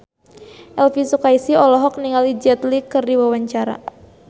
Elvi Sukaesih olohok ningali Jet Li keur diwawancara